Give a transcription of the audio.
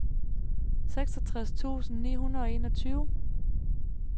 seksogtres tusind ni hundrede og enogtyve